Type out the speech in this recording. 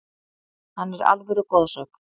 Hann er alvöru goðsögn,